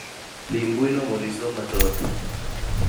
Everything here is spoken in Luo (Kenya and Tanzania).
Lim mbui no mondo isom mathoth